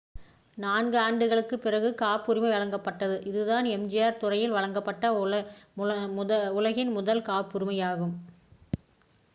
நான்கு ஆண்டுகளுக்குப் பிறகு காப்புரிமை வழங்கப்பட்டது இதுதான் எம்.ஆர்.ஐ துறையில் வழங்கப்பட்ட உலகின் முதல் காப்புரிமையாகும்